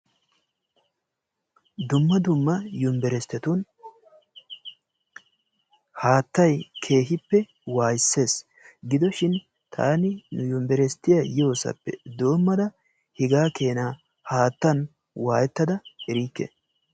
dumma dumma yuniberesttetun haattay keehippe waayisses. gidoshin taani yunibersttiyaa yoosappe doommada hegaa keena haattaan waayettada erikke.